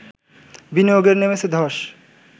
বিনিয়োগে নেমেছে ধস